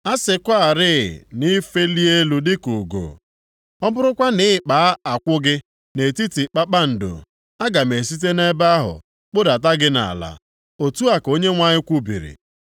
A sịkwarị na i felie elu dịka ugo, ọ bụrụkwa na ị kpaa akwụ gị nʼetiti kpakpando, aga m esite nʼebe ahụ kpụdata gị nʼala.” Otu a ka Onyenwe anyị kwubiri.